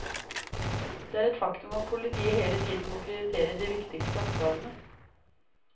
Det er et faktum at politiet hele tiden må prioritere de viktigste oppgavene.